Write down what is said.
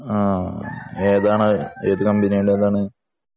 ആഹ് ഏതാണ് ഏതു കമ്പനിയുടേതാണ്